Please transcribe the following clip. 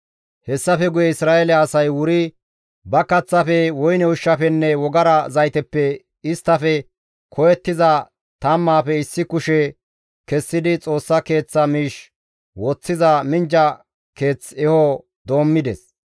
Hessafe guye Isra7eele asay wuri ba kaththafe, woyne ushshafenne wogara zayteppe isttafe koyettiza tammaafe issi kushe kessidi Xoossa Keeththa miish woththiza minjja keeth eho doommides.